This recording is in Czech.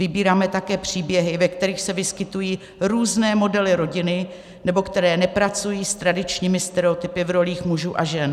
Vybíráme také příběhy, ve kterých se vyskytují různé modely rodiny nebo které nepracují s tradičními stereotypy v rolích mužů a žen."